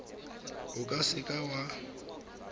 o ka se ka wa